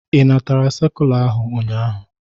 Ị natara sekula ahụ ụnyaahụ?